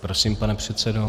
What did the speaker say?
Prosím, pane předsedo.